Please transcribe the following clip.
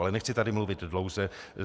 Ale nechci tady mluvit dlouze.